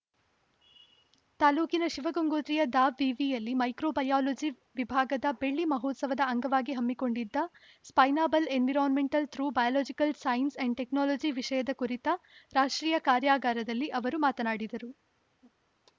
ತಾಲೂಕಿನ ಶಿವಗಂಗೋತ್ರಿಯ ದಾವಿವಿಯಲ್ಲಿ ಮೈಕ್ರೋ ಬಯಾಲಜಿ ವಿಭಾಗದ ಬೆಳ್ಳಿ ಮಹೋತ್ಸವದ ಅಂಗವಾಗಿ ಹಮ್ಮಿಕೊಂಡಿದ್ದ sustainable environmental through biological science and technology ವಿಷಯದ ಕುರಿತ ರಾಷ್ಟ್ರೀಯ ಕಾರ್ಯಾಗಾರದಲ್ಲಿ ಅವರು ಮಾತನಾಡಿದರು